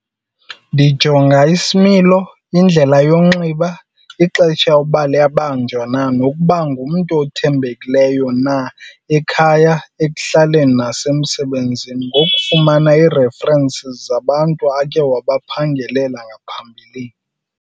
Ndijonga isimilo, indlela yonxiba, ixesha uba liyabanjwa na nokuba ngumntu othembekileyo na ekhaya, ekuhlaleni nasemsebenzini ngokufumana ii-references zabantu akhe wabaphangelela ngaphambilini.